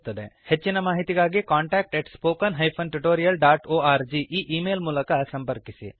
ಹೆಚ್ಚಿನ ಮಾಹಿತಿಗಾಗಿ contactspoken tutorialorg ಈ ಈ ಮೇಲ್ ಮೂಲಕ ಸಂಪರ್ಕಿಸಿ